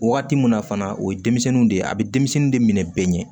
Waati mun na fana o ye denmisɛnninw de ye a bɛ denmisɛnnin de minɛ bɛɛ ɲɛ